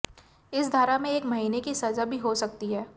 इस धारा में एक महीने की सजा भी हो सकती है